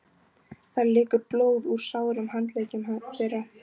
Það lekur blóð úr sárum handleggjum þeirra.